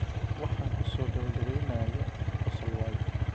Waxaan ku soo gabagabeynayaa qosol waayo?